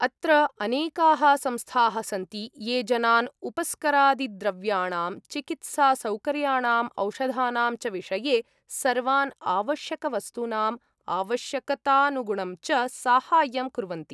अत्र अनेकाः संस्थाः सन्ति ये जनान् उपस्करादिद्रव्याणां, चिकित्सासौकर्याणां, औषधानां च विषये, सर्वान् आवश्यकवस्तूनाम् आवश्यकतानुगुणं च साहाय्यं कुर्वन्ति।